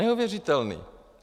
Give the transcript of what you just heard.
Neuvěřitelný!